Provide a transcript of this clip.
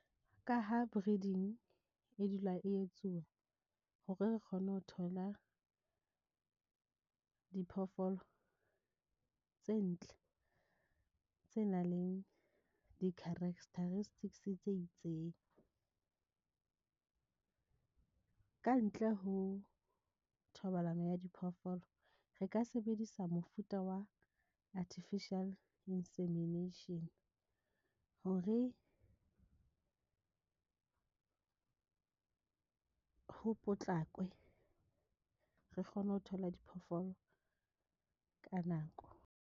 Ka ha breeding e dula e etsuwa hore re kgone ho thola, diphoofolo tse ntle, tse nang le di characteristics tse itseng, kantle ho thobalano ya diphoofolo. Re ka sebedisa mofuta wa artificial insemination hore ho potlakwe re kgone ho thola diphoofolo ka nako.